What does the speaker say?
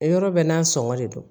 Yɔrɔ bɛɛ n'a sɔngɔ de don